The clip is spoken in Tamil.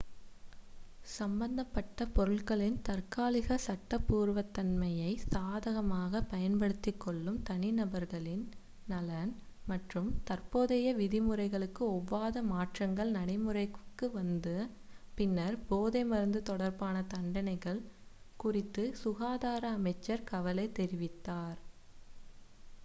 சம்பந்தப்பட்ட பொருட்களின் தற்காலிக சட்டபூர்வத்தன்மையை சாதகமாகப் பயன்படுத்திக் கொள்ளும் தனிநபர்களின் நலன் மற்றும் தற்போதைய விதிமுறைகளுக்கு ஒவ்வாத மாற்றங்கள் நடைமுறைக்கு வந்த பின்னர் போதைமருந்து தொடர்பான தண்டனைகள் குறித்து சுகாதார அமைச்சர் கவலை தெரிவித்தார்